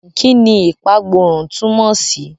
Kí ni ìpagbórun túmọ̀ sí?